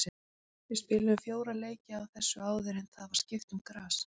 Við spiluðum fjóra leiki á þessu áður en það var skipt um gras.